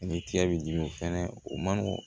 Ni tigɛ b'i dimi fɛnɛ o man nɔgɔn